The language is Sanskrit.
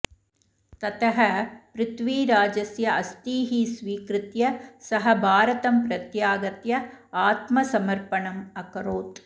ततः पृथ्वीराजस्य अस्थीः स्वीकृत्य सः भारतं प्रत्यागत्य आत्मसमर्पणम् अकरोत्